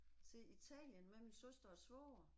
Til Italien med min søster og svoger